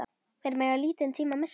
Þeir mega lítinn tíma missa.